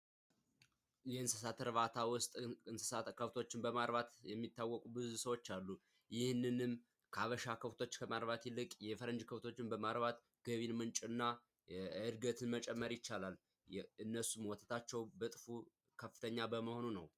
የእንስሳት እርባታ ውስጥ እንስሳት ከብቶችን በማርባት የሚታወቁ ብዙ ሰዎች አሉ። ይህንንም ያበሻ ከብቶች ከማርባት ይልቅ የፈረንጅ ከብቶች በማርባት የገቢ ምንጭና ዕድገትን መጨመር ይቻላል። እነሱም ወተታቸው በእጥፎ ከፍተኛ በመሆኑ ነው።